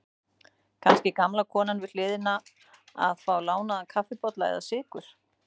Kannski gamla konan við hliðina að fá lánaðan kaffibolla eða sykur.